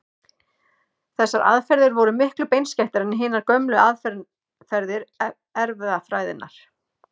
Þessar aðferðir voru miklu beinskeyttari en hinar gömlu aðferðir erfðafræðinnar.